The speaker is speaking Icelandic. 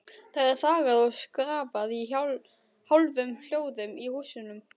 Það er þagað og skrafað í hálfum hljóðum í húsunum.